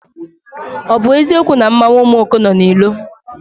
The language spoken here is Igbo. Ọ bụ eziokwu na mmanwụ Omuoko nọ na ilo?